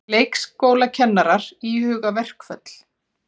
Leikskólakennarar íhuga verkföll